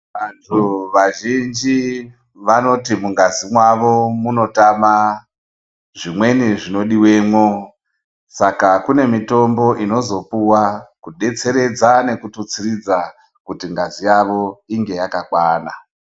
Vantu vazhinji, vanoti mungazi mavo munotama zvimweni zvinodiwe mo. Saka kunemitombo inozopuwa kudetseredza nekututsiridza kuti ngazi yavo inge yakakwana.